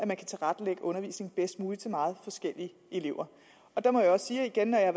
man kan tilrettelægge undervisningen bedst muligt til meget forskellige elever der må jeg også sige igen at